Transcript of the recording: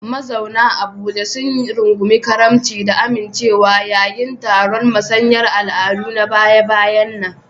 Mazauna Abuja sun rungumi karimci da amincewa yayin taron musayar al'adu na baya-bayan nan.